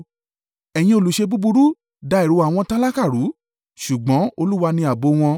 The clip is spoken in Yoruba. Ẹ̀yin olùṣe búburú da èrò àwọn tálákà rú, ṣùgbọ́n Olúwa ni ààbò wọn.